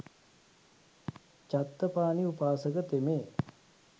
චත්තපාණී උපාසක තෙමේ